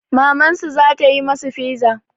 Mamansu za ta yi masu fiza.